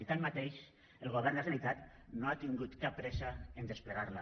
i tanmateix el govern de la generalitat no ha tingut cap pressa en desplegar la